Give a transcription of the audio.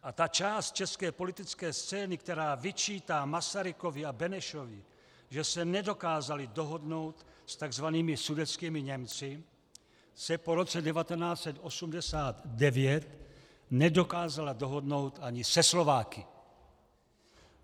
A ta část české politické scény, která vyčítá Masarykovi a Benešovi, že se nedokázali dohodnout s takzvanými sudetskými Němci, se po roce 1989 nedokázala dohodnout ani se Slováky.